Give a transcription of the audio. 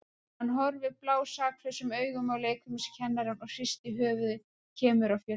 Hann horfir blásaklausum augum á leikfimikennarann og hristir höfuðið, kemur af fjöllum.